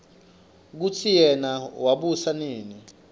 kutsi yena wabusa nini